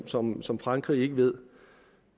som som frankrig ikke ved